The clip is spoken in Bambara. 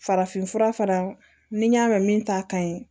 Farafinfura fara ni n y'a mɛn min ta ka ɲi